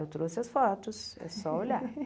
Eu trouxe as fotos, é só olhar.